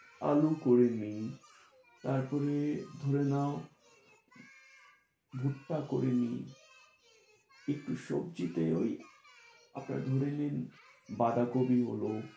আলু করে নিই, তারপরে ধরে নাও ভুট্টা করে নিই, একটু সবজি তে ওই আপনার ধরে নিন বাঁধাকপি হলো।